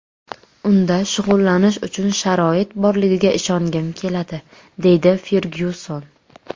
Unda shug‘ullanish uchun sharoit borligiga ishongim keladi”, deydi Fergyuson.